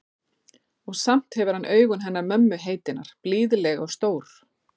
Og samt hefur hann augun hennar mömmu heitinnar, blíðleg og stór.